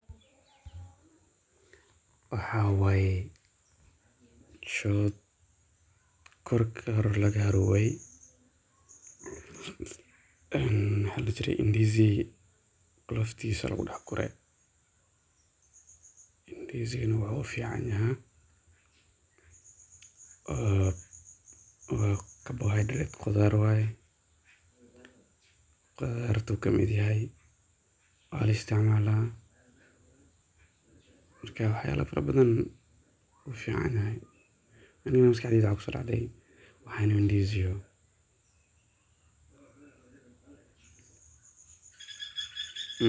Moos qoloof waa qashin ka soo baxa mooska marka la jiro, waxaana laga yaabaa in ay noqoto mid aan faa'iido lahayn haddii la eego, laakiin dhab ahaanti waxay leedahay faa'iidooyin badan oo ay ka mid yihiin in ay noqoto kiisaab macaan oo loo isticmaali karo beeraha si ay u noqdaan wixii la beeraayo, sidoo kale waxaa jira qaar ka mid ah dadka ay ku daryeelaan in ay cunaan qolofta mooska maxaa yeelay waxay leedahay dhadhan macaan oo qurux badan, waxayna ka kooban tahay fiiber badan oo faa'iido u leh nafaqada,